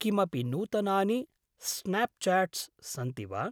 किमपि नूतनानि स्नाप्च्याट्स् सन्ति वा?